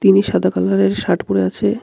তিনি সাদা কালারের শার্ট পরে আছে.